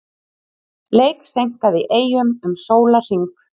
Leik seinkað í Eyjum um sólarhring